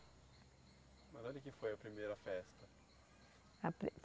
Mas onde que foi a primeira festa? A pri